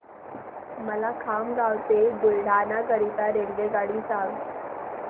मला खामगाव ते बुलढाणा करीता रेल्वेगाडी सांगा